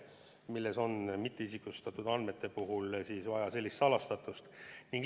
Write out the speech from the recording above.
Miks on mitteisikustatud andmete puhul vaja sellist salastatust?